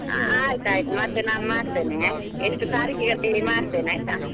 ಆ ಆಯ್ತಾಯ್ತು ಮತ್ತೆ ನಾನ್ ಮಾಡ್ತೇನೆ, ಎಷ್ಟು ಅಂತ ಹೇಳಿ ಮಾಡ್ತೇನೆ ಆಯ್ತಾ?